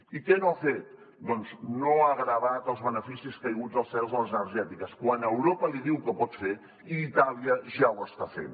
i què no ha fet doncs no ha gravat els beneficis caiguts del cel de les energètiques quan europa li diu que ho pot fer i itàlia ja ho està fent